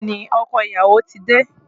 Bẹ́ẹ̀ni, ọkọ ìyàwó ti dé.